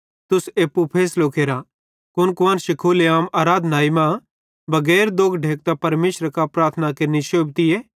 तुस एप्पू फैसलो केरा कुन कुआन्शी खुले आम आराधनाई मां बगैर दोग ढेकतां परमेशरे कां प्रार्थना केरनि शोभतीए